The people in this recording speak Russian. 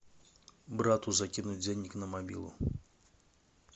брату закинуть денег на мобилу